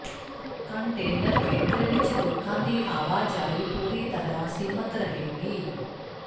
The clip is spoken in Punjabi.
ਕੰਟੇਨਰ ਖੇਤਰ ਵਿਚ ਲੋਕਾਂ ਦੀ ਆਵਾਜਾਈ ਪੂਰੀ ਤਰ੍ਹਾਂ ਸੀਮਤ ਰਹੇਗੀ